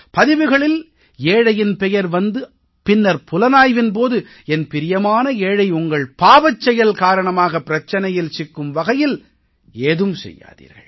பதிவுகளில் ஏழையின் பெயர் வந்து பின்னர் புலனாய்வின் போது என் பிரியமான ஏழை உங்கள் பாவச்செயல் காரணமாகப் பிரச்சனையில் சிக்கும் வகையில் ஏதும் செய்யாதீர்கள்